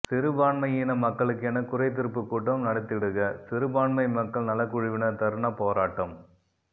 சிறுபான்மையின மக்களுக்கென குறைதீர்ப்பு கூட்டம் நடத்திடுக சிறுபான்மை மக்கள் நலக்குழுவினர் தர்ணா போராட்டம்